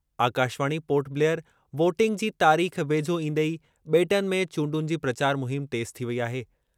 Akashvani Port Blair voting जी तारीख़ वेझो ईंदे ई बे॒टनि में चूंडुनि जी प्रचार मुहिम तेज़ थी वेई आहे।